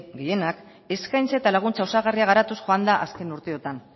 gehienak eskaintza eta laguntza osagarriak osatuz joan da azken urteotan